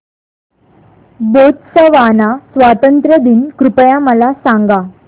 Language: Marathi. बोत्सवाना स्वातंत्र्य दिन कृपया मला सांगा